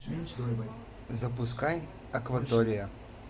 запускай акватория